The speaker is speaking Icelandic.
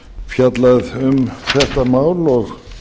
fjallað um þetta mál og